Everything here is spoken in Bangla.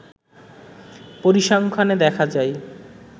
পরিসংখ্যানে দেখা যায়